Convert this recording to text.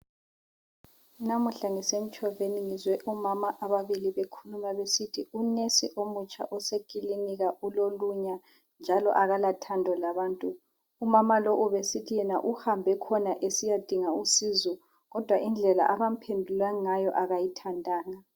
Namuhla ngisemtshoveni ngizwe omama ababili bekhuluma besithi u"nurse" omutsha osekilinika ulolunya njalo akala thando labantu. Umama lo ubesithi uhambe khona esiyadinga usizo kodwa indlela akamphendulo ngayo akayithandanga